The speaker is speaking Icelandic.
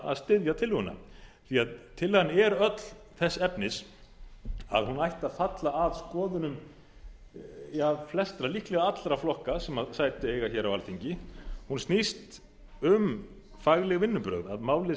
að styðja tillöguna tillagan er öll þess efnis að hún ætti að falla að skoðunum flestra líklega allra flokka sem sæti eiga hér á alþingi hún snýst um fagleg vinnubrögð að málið sé unnið